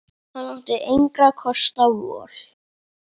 Hann átti engra kosta völ.